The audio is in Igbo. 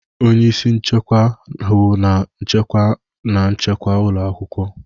Onye isi nchekwa, hụ na nchekwa na nchekwa ụlọ akwụkwọ.